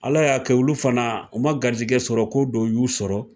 Ala y'a kɛ Olu fana u ma garijɛgɛ sɔrɔ ko dɔ y'u sɔrɔ.